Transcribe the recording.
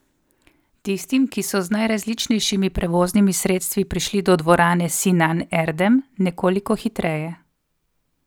Tistim, ki so z najrazličnejšimi prevoznimi sredstvi prišli do dvorane Sinan Erdem, nekoliko hitreje.